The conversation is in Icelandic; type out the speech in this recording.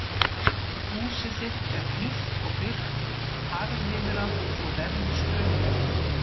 Húsið þitt er hlýtt og byrgt, harðviðra svo verjist straumi.